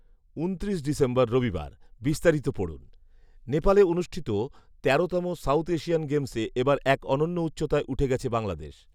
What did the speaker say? ঊনত্রিশ ডিসেম্বর রবিবার, বিস্তারিত পড়ুন, নেপালে অনুষ্ঠিত তেরোতম সাউথ এশিয়ান গেমসে এ বার এক অনন্য উচ্চতায় উঠে গেছে বাংলাদেশ